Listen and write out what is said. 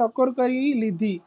ટકોર કરી લીધી